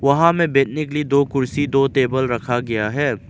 वहां में बैठने के लिए दो कुर्सी दो टेबल रखा गया है।